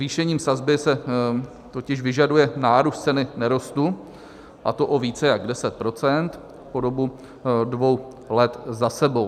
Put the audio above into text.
Zvýšením sazby se totiž vyžaduje nárůst ceny nerostu, a to o více než 10 % po dobu dvou let za sebou.